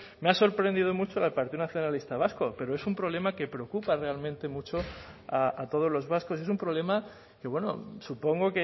me ha sorprendido mucho el partido nacionalista vasco pero es un problema que preocupa realmente mucho a todos los vascos es un problema que bueno supongo